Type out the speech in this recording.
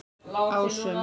Ásum